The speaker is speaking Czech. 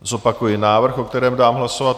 Zopakuji návrh, o kterém dám hlasovat.